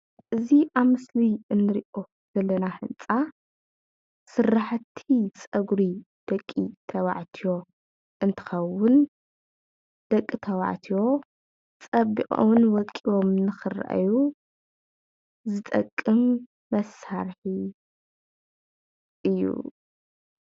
እዚ ኣብ ምስሊ እንሪኦ ዘለና ህንፃ ስራሕቲ ፀጉሪ ደቂ ተባዕትዮ እንትከውን ደቂ ተባዕትዮ ፀቢቆምን ወቂቦምን ንክረአዮ ዝጠቅም መሳርሒ እዩ፡፡